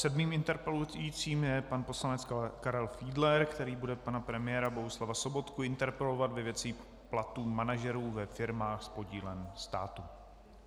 Sedmým interpelujícím je pan poslanec Karel Fiedler, který bude pana premiéra Bohuslava Sobotku interpelovat ve věci platů manažerů ve firmách s podílem státu.